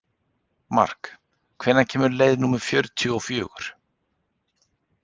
Mark, hvenær kemur leið númer fjörutíu og fjögur?